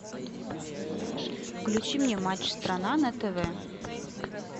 включи мне матч страна на тв